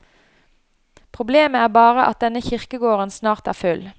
Problemet er bare at denne kirkegården snart er full.